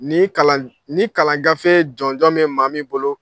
Ni kalan ni kalan gafe jɔnjɔn bɛ maa min bolo.